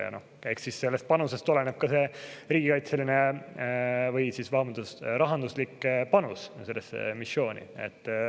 Ja eks siis sellest oleneb ka rahanduslik panus sellesse missiooni.